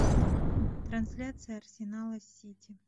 трансляция арсенала с сити